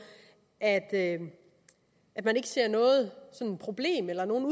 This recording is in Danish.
at at man ikke ser noget problem eller nogen